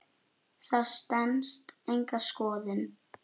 Það stenst enga skoðun.